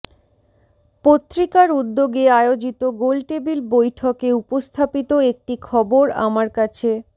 পত্রিকার উদ্যোগে আয়োজিত গোলটেবিল বৈঠকে উপস্থাপিত একটি খবর আমার কাছে